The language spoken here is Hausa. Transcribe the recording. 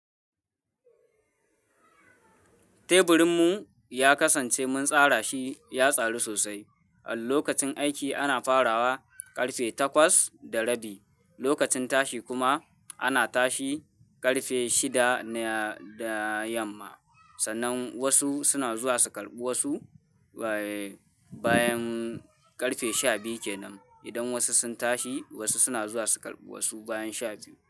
Teburin mu ya kasance mun tsara shi ya tsaru sosai. A lokacin aiki ana farawa karfe takwas da rabi, lokacin tashi kuma ana tashi karfe shida da yamma. Sannan wasu suna zuwa su karɓi wasu bayan karfe sha biyu kenan. Idan wasu sun tashi wasu suna zuwa su karɓi wasu bayan sha biyu.